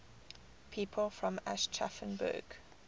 people from aschaffenburg